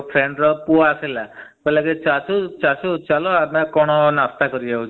କାଲି ସନ୍ଧ୍ୟା ବେଳେ ବାହାରେ ବସିଥିଲୁ ସେ friend ର ପୁଅ ଆସିଲା କହିଲା ଚାଚୁ ଚାଚୁ ଚାଲ ଆମେ କଣ ନାସ୍ତା କରିବାକୁ ଯିବା।